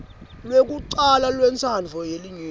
lwekucala lwentsandvo yelinyenti